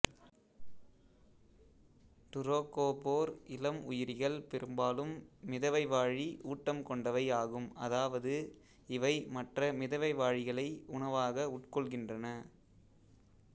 டுரோக்கோபோர் இளம் உயிரிகள் பெரும்பாலும் மிதவைவாழி ஊட்டம் கொண்டவை ஆகும் அதாவது இவை மற்ற மிதவைவாழிகளை உணவாக உட்கொள்கின்றன